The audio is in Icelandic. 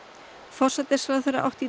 forsætisráðherra átti